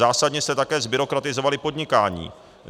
Zásadně jste také zbyrokratizovali podnikání.